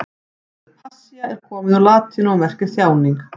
Orðið passía er komið úr latínu og merkir þjáning.